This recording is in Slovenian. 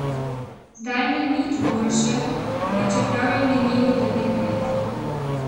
Zdaj ni nič boljše, pa čeprav je minilo devet let.